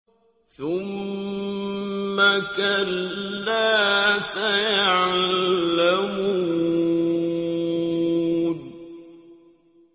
ثُمَّ كَلَّا سَيَعْلَمُونَ